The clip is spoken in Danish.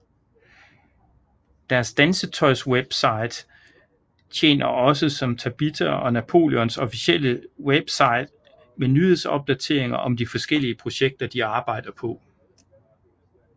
Deres dansetøjswebside tjener også som Tabitha og Napoleons officielle webside med nyhedsopdateringer om de forskellige projekter de arbejder på